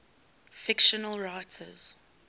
fictional writers